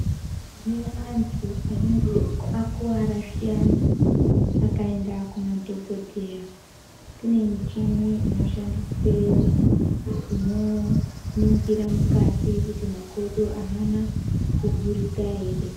Tine antu anenge akuwara zviyani akaenda kumadhokodheya kune michini inoshandisweyo inoningira mukati kuti makodo aana kugurika ere.